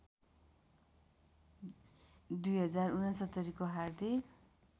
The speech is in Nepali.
२०६९ को हार्दिक